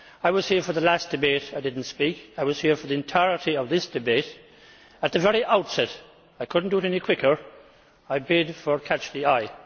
I was here for the last debate, I did not speak. I was here for the entirety of this debate and at the very outset I could not do it any quicker I bid for catch the eye.